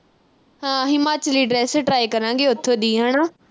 ਹਾਂ ਹਿਮਾਚਲੀ dress ਕਰਾਂਗੇ ਉਥੋਂ ਦੀ ਹਨਾ।